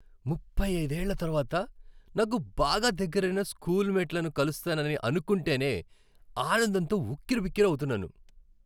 ముప్పై అయిదేళ్ళ తరువాత నాకు బాగా దగ్గరైన స్కూల్ మేట్లను కలుస్తానని అనుకుంటేనే ఆనందంతో ఉక్కిరిబిక్కిరి అవుతున్నాను.